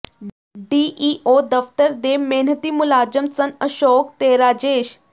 DEO ਦਫ਼ਤਰ ਦੇ ਮਿਹਨਤੀ ਮੁਲਾਜ਼ਮ ਸਨ ਅਸ਼ੋਕ ਤੇ ਰਾਜੇਸ਼